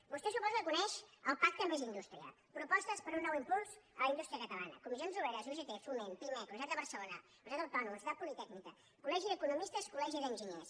vostè suposo que coneix el pacte més indústria propostes per a un nou impuls a la indústria catalana comissions obreres ugt foment pimec universitat de barcelona universitat autònoma universitat politècnica col·legi d’economistes col·legi d’enginyers